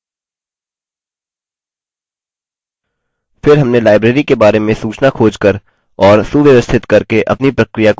फिर हमने library के बारे में सूचना खोज कर और सुव्यवस्थित करके अपनी प्रक्रिया को जारी रखा